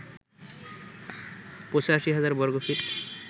৮৫০০০ বর্গ ফিট